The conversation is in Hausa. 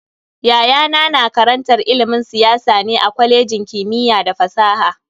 Yayana na karantar ilimin siyasa ne a kwalejin kimiyya da fasaha.